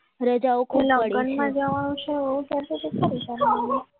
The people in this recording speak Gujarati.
લગ્નમાં જવાનું છે એવું કહેતી ને પછી કેમ રજા ના મળી